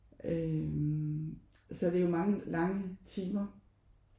Øh så det er jo mange lange timer